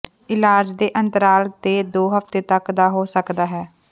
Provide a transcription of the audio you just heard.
ਇਲਾਜ ਦੇ ਅੰਤਰਾਲ ਤੇ ਦੋ ਹਫ਼ਤੇ ਤੱਕ ਦਾ ਹੋ ਸਕਦਾ ਹੈ